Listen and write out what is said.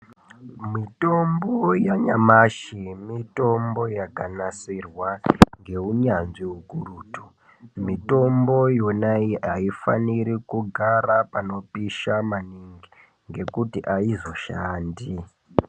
Mitombo yanayamashi, mitombo yakanasirwa ngeunyanzvi ukurutu. Mitombo yonayi hayifaniri kugara panopisha maningi ngekuti aizoshandi.